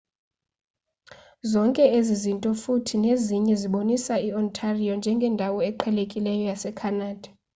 zonke ezi zinto futhi nezinye zibonisa i-ontario njengendawo eqhelekileyo yase-khanada